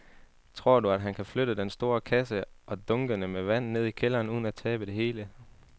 Tror du, at han kan flytte den store kasse og dunkene med vand ned i kælderen uden at tabe det hele?